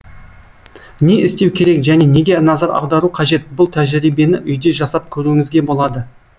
не істеу керек және неге назар аудару қажет бұл тәжірибені үйде жасап көруіңізге болады